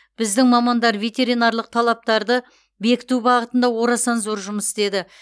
біздің мамандар ветеринарлық талаптарды бекіту бағытында орасан зор жұмыс істеді